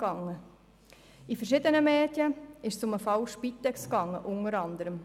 In verschiedenen Medien ging es unter anderem um den Fall Spitex Bern.